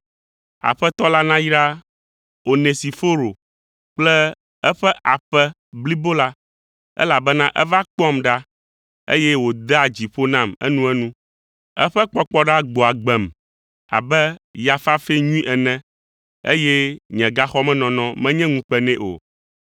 Aƒetɔ la nayra Onesiforo kple eƒe aƒe blibo la, elabena eva kpɔam ɖa, eye wòdea dzi ƒo nam enuenu. Eƒe kpɔkpɔɖa gbɔa agbem abe ya fafɛ nyui ene, eye nye gaxɔmenɔnɔ menye ŋukpe nɛ o.